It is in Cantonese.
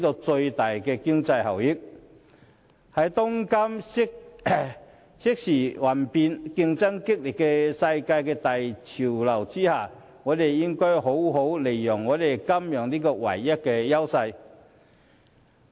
在當今瞬息萬變和競爭激烈的世界大潮流下，香港應好好利用金融這項唯一優勢。